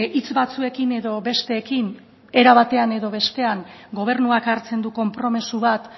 hitz batzuekin edo besteekin era batean edo bestean gobernuak hartzen du konpromiso bat